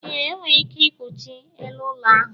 ee, o nwere ike ikuchie elu ụlọ ahụ